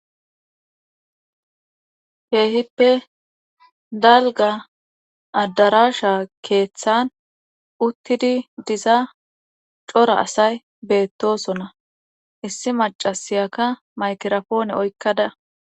keehippe dalgga addarasha keeththan uttidi diza cora asay beettosona issi macasiyaka maykirapoone oykkada.